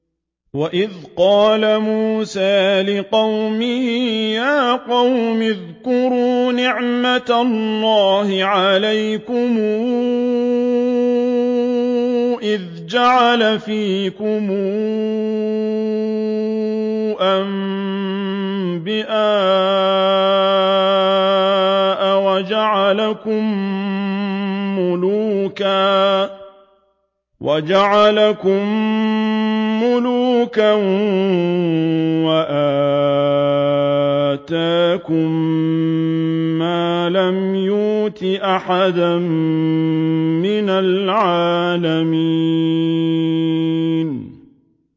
وَإِذْ قَالَ مُوسَىٰ لِقَوْمِهِ يَا قَوْمِ اذْكُرُوا نِعْمَةَ اللَّهِ عَلَيْكُمْ إِذْ جَعَلَ فِيكُمْ أَنبِيَاءَ وَجَعَلَكُم مُّلُوكًا وَآتَاكُم مَّا لَمْ يُؤْتِ أَحَدًا مِّنَ الْعَالَمِينَ